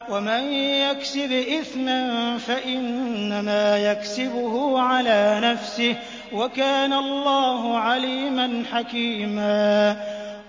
وَمَن يَكْسِبْ إِثْمًا فَإِنَّمَا يَكْسِبُهُ عَلَىٰ نَفْسِهِ ۚ وَكَانَ اللَّهُ عَلِيمًا حَكِيمًا